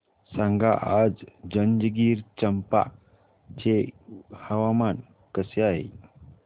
सांगा आज जंजगिरचंपा चे हवामान कसे आहे